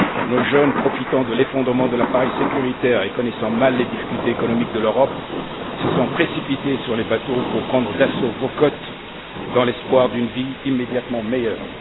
Nos jeunes, profitant de l'effondrement de l'appareil sécuritaire et connaissant mal les difficultés économiques de l'Europe, se sont précipités sur les bateaux pour prendre d'assaut vos côtes dans l'espoir d'une vie immédiatement meilleure.